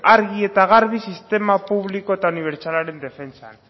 argi eta garbi sistema publiko eta unibertsalaren defentsan